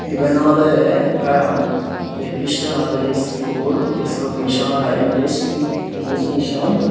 iben olodey ekkan jekkey christianor jei school school missionor ai English English mission.